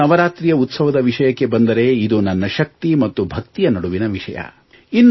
ಇನ್ನು ನವರಾತ್ರಿಯ ಉತ್ಸವದ ವಿಷಯಕ್ಕೆ ಬಂದರೆ ಇದು ನನ್ನ ಶಕ್ತಿ ಮತ್ತು ಭಕ್ತಿಯ ನಡುವಿನ ವಿಷಯ